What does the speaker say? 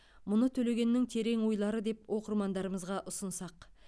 мұны төлегеннің терең ойлары деп оқырмандарымызға ұсынсақ